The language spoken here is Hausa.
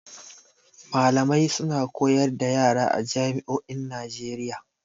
Malamai suna koyar da yara a jami'o'in Najeiya.